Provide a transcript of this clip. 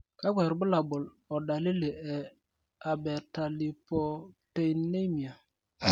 kakwa irbulabol o dalili e Abetalipopteinemia?